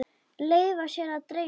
Leyfa sér að dreyma.